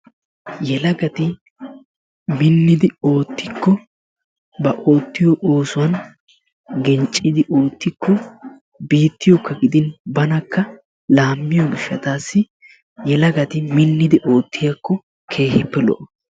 Ha yelagati minnidi oottikko ba oottiyo oosuwan genccidi oottikko biittiyokka gidin banakka laamiyo gishshataassi yelagati minnidi oottiyakko keehippe lo''o.